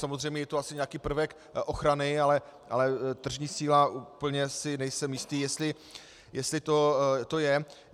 Samozřejmě je to asi nějaký prvek ochrany, ale tržní síla - úplně si nejsem jistý, jestli to je.